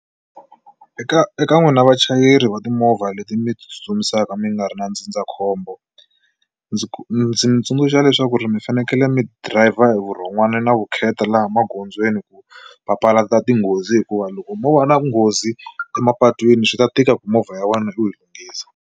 Eka eka eka n'wina vachayeri va timovha leti mi tsutsumisaka mi nga ri na ndzindzakhombo ndzi ndzi mi tsundzuxa leswaku ri mi fanekele mi driver hi vurhon'wana na vukheta laha magondzweni ku papalata tinghozi hikuva loko mo va na nghozi emapatwini swi ta tika ku movha ya wena u yi lunghisa.